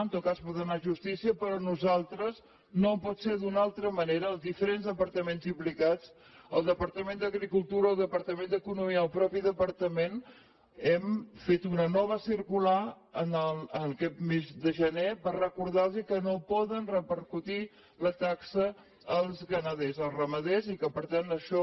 en tot cas pot anar a justícia però nosaltres no pot ser d’una altra manera els diferents departaments implicats el departament d’agricultura el departament d’economia i el mateix departament hem fet una nova circular aquest mes de gener per recordarlos que no poden repercutir la taxa als ramaders i que per tant això